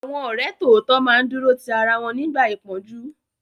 Àwọn ọ̀rẹ́ tòótọ́ máa ń dúró ti ara wọn nígbà ìpọ́njú